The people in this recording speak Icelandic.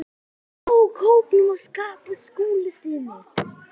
AÐ NÁ KÓPNUM AF SKAPTA SKÚLASYNI.